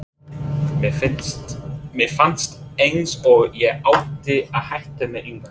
Mér fannst eins og ég ætti að hætta með Englandi?